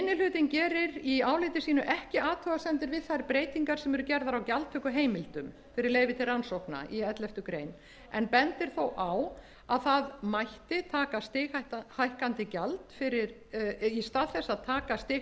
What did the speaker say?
hlutinn gerir í áliti sínu ekki athugasemdir við þær breytingar sem eru gerðar á gjaldtökuheimildum fyrir leyfi til rannsókna í elleftu greinar en bendir þó á að í stað þess að taka